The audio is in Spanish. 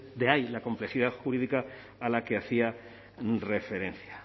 de ahí la complejidad jurídica a la que hacía referencia